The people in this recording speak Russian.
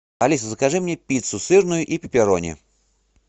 алиса закажи мне пиццу сырную и пепперони